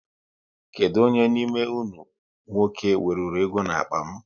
Kedụ onye n'ime unu nwoke weruru ego n'akpa m